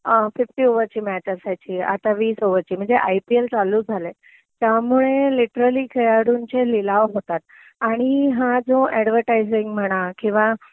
fifty ओव्हरची match असायची आता वीस ओव्हरची म्हणजे आय पी एल चालू झालंय त्यामुळे लिटरली खेळाडूंचे लिलाव होतात आणि हा जो ऍडव्हर्टायझिंग म्हणा किंवा